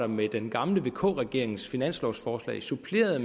med den gamle vk regerings finanslovforslag suppleret